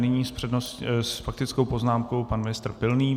Nyní s faktickou poznámkou pan ministr Pilný.